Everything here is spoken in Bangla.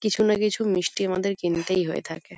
কিছুনা কিছু মিষ্টি আমাদের কিনতেই হয়ে থাকে।